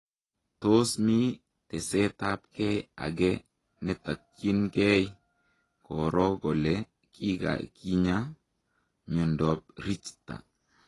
Tos mi tesetap gei agee netakyiin gei koroo kolee kakinyaa miondoo Richter ?